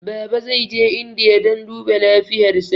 Baba zai je indiya dan duba lafiyar sa